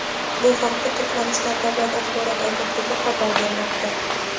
Bu haqda Turkmaniston davlat axborot agentligi xabar bermoqda.